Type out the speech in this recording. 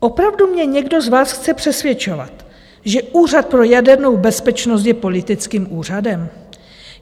Opravdu mě někdo z vás chce přesvědčovat, že Úřad pro jadernou bezpečnost je politickým úřadem?